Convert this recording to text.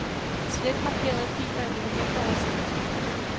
Slet markerede filer i dokumentoversigt.